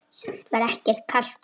Samt var ekkert kalt úti.